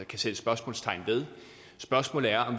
kan sættes spørgsmålstegn ved spørgsmålet er